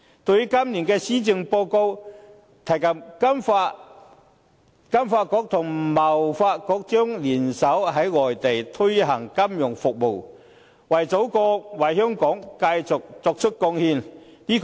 對於今年的施政報告，提及金發局和香港貿易發展局將聯手在外地推行金融服務業，為祖國、為香港繼續作出貢獻。